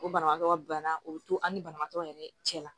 O banabagatɔ bana o bɛ to an ni banabagatɔ yɛrɛ cɛ la